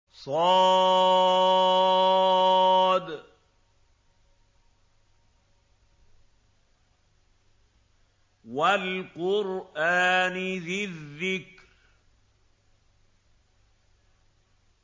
ص ۚ وَالْقُرْآنِ ذِي الذِّكْرِ